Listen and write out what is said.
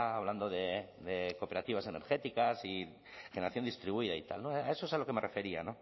hablando de cooperativas energéticas y generación distribuida y tal a eso es a lo que me refería